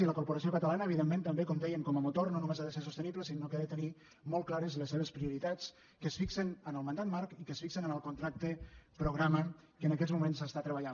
i la corporació catalana evidentment també com dèiem com a motor no només ha de ser sostenible sinó que ha de tenir molt clares les seves prioritats que es fixen en el mandat marc i que es fixen en el contracte programa que en aquests moments s’està treballant